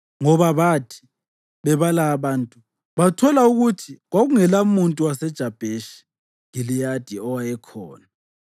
Ngoba bathi bebala abantu, bathola ukuthi kwakungelamuntu waseJabheshi Giliyadi owayekhona.